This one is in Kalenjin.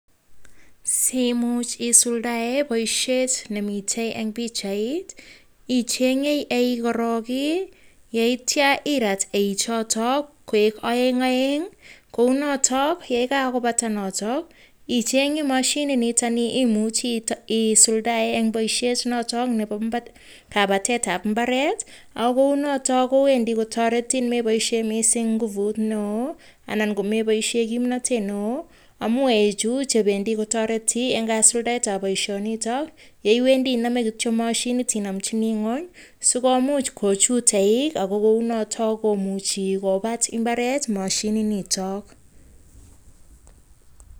Simuch isuldae boishet nemitei eng pichait, ichenye eik korok, yeityo irat eichotok koek oeng oeng, kou notok yekakobata notok, ichenye mashinit nitoni imuche isuldae eng boishet notok nebo kabatet ab imbaret. Ako kou notok kowendi kotoretin komeboishe mising inguvut neo. anan komeboishe kimnatet neo, amu eichu chebendi kotareti kasuldaet ab boishonitok, yeiwendi inamjini ingweny moshinit ak kochut eik ako kou notok komuchi kobat imbaret mashinit notok